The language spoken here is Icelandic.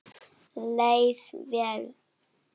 Leið vel.